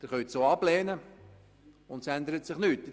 Sie können diese auch ablehnen, ohne dass sich etwas ändert.